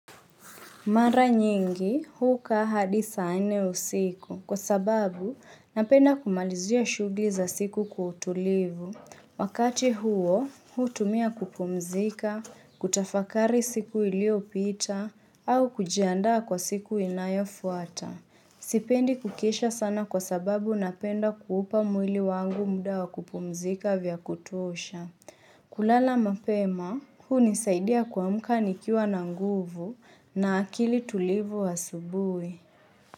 Mara nyingi, huu kaa hadi saa nne usiku, kwa sababu napenda kumalizia shughuli za siku kwa utulivu. Wakati huo, huu tumia kupumzika, kutafakari siku iliopita, au kujiandaa kwa siku inayofuata. Sipendi kukiisha sana kwa sababu napenda kuupa mwili wangu muda wa kupumzika vya kutosha. Kulala mapema, hunisaidia kuamka nikiwa na nguvu na akili tulivu asubuhi.